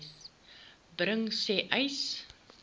bring sê uys